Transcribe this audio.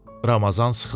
Ramazan sıxıldı.